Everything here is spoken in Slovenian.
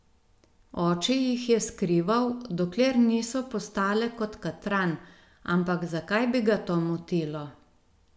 Oče jih je skrival, dokler niso postale kot katran, ampak zakaj bi ga to motilo?